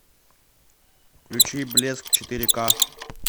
включи блеск четыре ка